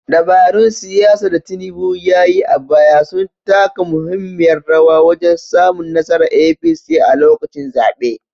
Dabarun siyasa da Tinubu ya yi a baya sun taka muhimmiyar rawa wajen samun nasarar APC a lokacin zaɓe.